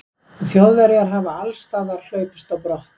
þjóðverjar hafi allsstaðar hlaupist á brott